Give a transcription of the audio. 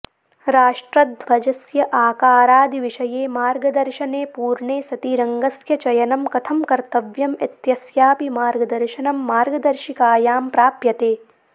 राष्ट्रध्वजस्य आकारादिविषये मार्गदर्शने पूर्णे सति रङ्गस्य चयनं कथं कर्तव्यम् इत्यस्यापि मार्गदर्शनं मार्गदर्शिकायां प्राप्यते